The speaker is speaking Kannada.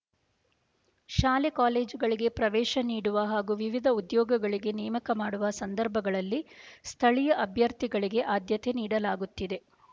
ಶಾಲೆ ಕಾಲೇಜುಗಳಿಗೆ ಪ್ರವೇಶ ನೀಡುವ ಹಾಗೂ ವಿವಿಧ ಉದ್ಯೋಗಗಳಿಗೆ ನೇಮಕ ಮಾಡುವ ಸಂದರ್ಭಗಳಲ್ಲಿ ಸ್ಥಳೀಯ ಅಭ್ಯರ್ಥಿಗಳಿಗೆ ಆದ್ಯತೆ ನೀಡಲಾಗುತ್ತಿದೆ